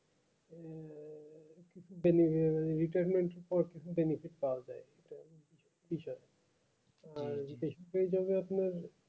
anywheer retirement or benefit পাও যাই আর সেভাবে আপনার